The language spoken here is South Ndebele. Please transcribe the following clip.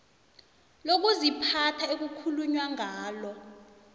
lokuziphatha ekukhulunywa ngalo